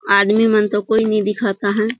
आदमी मन तो कोई नई दिखत आहे ।